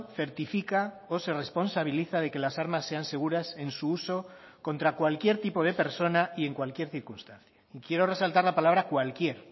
certifica o se responsabiliza de que las armas sean seguras en su uso contra cualquier tipo de persona y en cualquier circunstancia y quiero resaltar la palabra cualquier